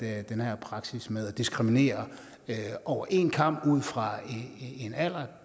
have den her praksis med at diskriminere over en kam ud fra en alder